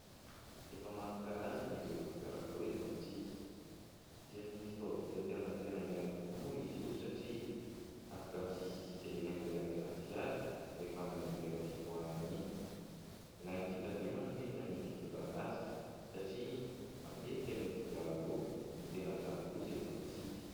Efa maro karazany ireo kodiaran-droa eto amintsika isan'ny fitaovam-pitanterana tena ilaina tokoa moa izy io satria afaka misisisika eny anelanelan'ny fiara rehefa amin'ny leran'ny fitohanana iny. Ilaina fitadremana anefa ny fitondrana azy satria matetika ny kodiaran-droa no tena traha-doza eto amintsika.